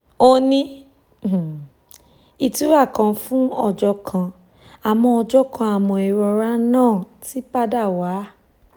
ó ní ìtura kan fún ọjọ́ kan àmọ́ ọjọ́ kan àmọ́ ìrora náà ti padà wá